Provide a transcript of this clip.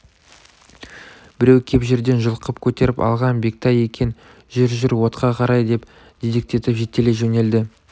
біреу кеп жерден жұлқып көтеріп алған бектай екен жүр жүр отқа қарай деп дедектетіп жетелей жөнелді